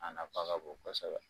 A nafa ka bon kosɛbɛ